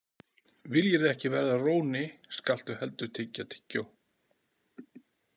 Viljirðu ekki verða róni, skaltu heldur tyggja tyggjó.